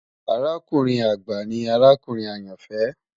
Àràkùnrin agba ni àràkùnrin ayanfẹ